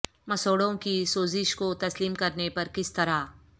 مسوڑھوں کی سوزش کو تسلیم کرنے پر کس طرح